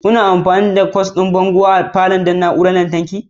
Kuna amfani da kwas ɗin bango a cikin falon don na'urorin lantarki da yawa?